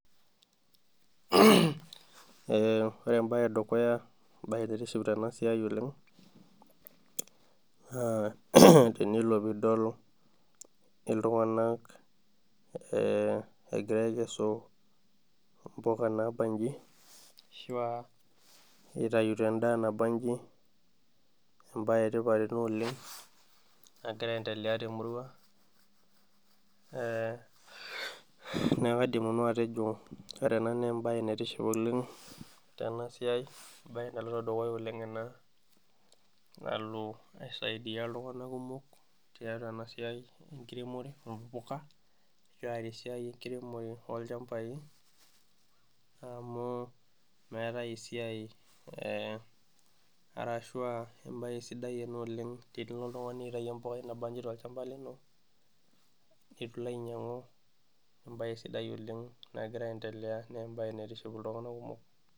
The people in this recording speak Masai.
Ore embae edukuya naitiship tena siai oleng naa tenelo pee idol iltunganak egira aikesu mpuka naabanji ashua aitaito endaa naabanji ,naa embae etipat ena oleng ,nagira aendelea tumurua neeku kaidim nanu atejo ore ena naa embae naitiship oleng tenasiai embae naloito oleng dukuya ena nalo aisaidia iltunganak kumok ,kiata esiai ekiremore oompuka ,kiata esiai enkiremore olchamapai ,amu embae sidai ena oleng tenilo oltungani aitayu embukai nabanji tolchampa lino eitu ilo ainyangu naa embae sidai naitiship iltunganak kumok.